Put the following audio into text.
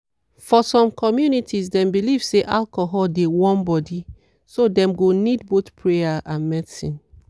for some communities dem believe say alcohol dey warm body so dem go need both prayer and medicine.